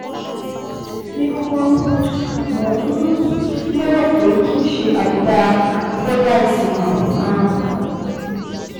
Ní kúkúrú: Mo um lérò pé kìí ṣe àbùdá Fordyce ni um